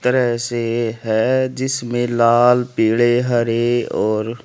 तरह से है जिसमें लाल पीले हरे और--